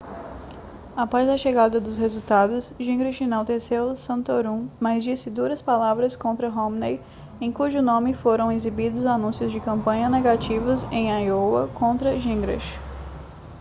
após a chegada dos resultados gingrich enalteceu santorum mas disse duras palavras contra romney em cujo nome foram exibidos anúncios de campanha negativos em iowa contra gingrich